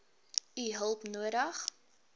u hulp nodig